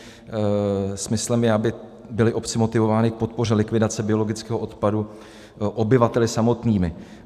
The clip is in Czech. Smyslem je, aby byly obce motivovány k podpoře likvidace biologického odpadu obyvateli samotnými.